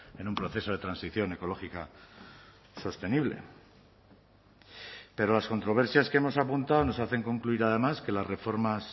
en un proceso de transición ecológica sostenible pero las controversias que hemos apuntado nos hacen concluir además que las reformas